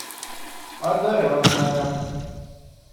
одаренная